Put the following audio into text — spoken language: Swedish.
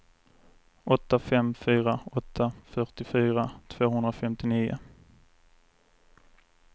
åtta fem fyra åtta fyrtiofyra tvåhundrafemtionio